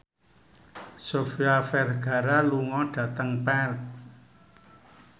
Sofia Vergara lunga dhateng Perth